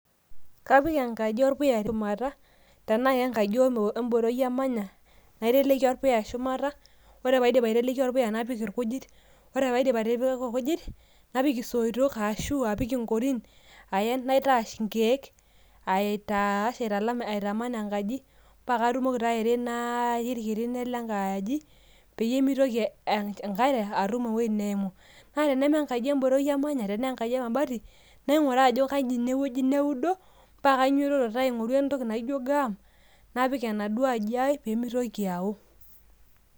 Kapik enkaji orpuya shumata, tenaa kenkaji orboroi amanya, naiteleki orpuya shumata. Ore paidip aiteleki orpuya napik irkujit. Ore paidip atipika irkujit, napik isoitok ashu apik inkorin aen naitash inkeek, aitaash aitaman enkaji, pakatumoki ta airinaaki irkirinen lenkaaji, peyie mitoki enkare atum ewueji neimu. Na tenema enkaji eboroi amanya, tenaa enkaji emabati, naing'uraa ajo kai inewueji neudo, pakainyototo ta aing'oru entoki naijo gam, napik enaduo aji ai pemitoki ao.